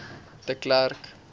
de klerk